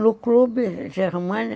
No clube, na Germânia,